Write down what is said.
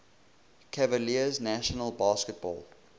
cavaliers national basketball